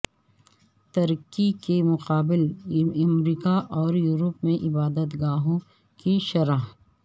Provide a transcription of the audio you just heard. ترکی کے مقابل امریکہ اور یورپ میں عبادت گاہوں کی شرح